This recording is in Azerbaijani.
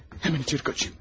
Həmən içəri qaçım.